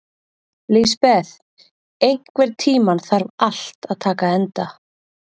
Lisbeth, einhvern tímann þarf allt að taka enda.